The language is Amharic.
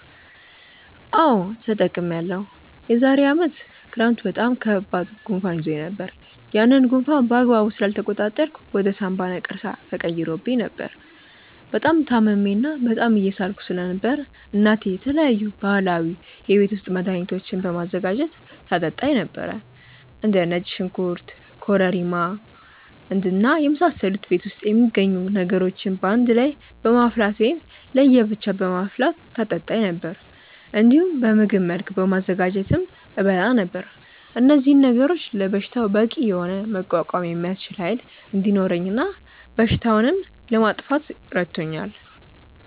አዎ ተጠቅሜያለሁ። የዛሬ አመት ክረምት በጣም ከባድ ጉንፋን ይዞኝ ነበር። ያንን ጉንፋን በአግባቡ ስላልተቆጣጠርኩት ወደ ሳምባ ነቀርሳ ተቀይሮ ነበር። በጣም ታምሜ እና በጣም እየሳልኩ ስለነበር እናቴ የተለያዩ ባህላዊ የቤት ውስጥ መድሀኒቶችን በማዘጋጀት ታጠጣኝ ነበር። እንደ ነጭ ሽንኩርት ኮረሪማ ማር እና የመሳሰሉ ቤት ውስጥ የሚገኙ ነገሮችን በአንድ ላይ በማፍላት ወይም ለየ ብቻ በማፍላት ታጠጣኝ ነበር። እንዲሁም በምግብ መልክ በማዘጋጀትም እበላ ነበር። እነዚህ ነገሮች ለበሽታው በቂ የሆነ መቋቋም የሚያስችል ኃይል እንዲኖረኝ እና በሽታውንም ለማጥፋት ረድቶኛል።